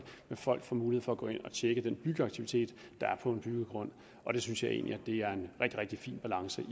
folk får mulighed for at gå ind og tjekke den byggeaktivitet der er på en byggegrund og det synes jeg egentlig er en rigtig rigtig fin balance